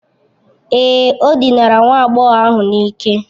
Èé, o dinara nwa agbọghọ ahụ n'ike.